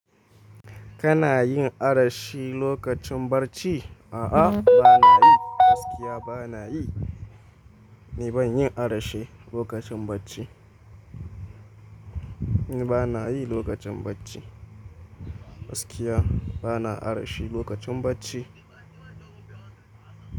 Kana yin arashi lokacin barci? A'a, bana yi. Gaskiya bana yi. Ni ban yi arshi lokacin bacci. Ni bana yi lokacin bacci. Gaskiya bana arshi lokacin bacci.